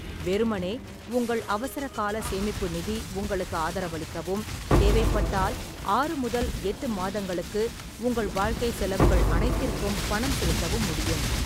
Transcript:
வெறுமனே, உங்கள் அவசரகால சேமிப்பு நிதி உங்களுக்கு ஆதரவளிக்கவும், தேவைப்பட்டால், ஆறு முதல் எட்டு மாதங்களுக்கு உங்கள் வாழ்க்கை செலவுகள் அனைத்திற்கும் பணம் செலுத்தவும் முடியும்.